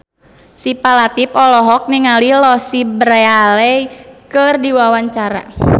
Syifa Latief olohok ningali Louise Brealey keur diwawancara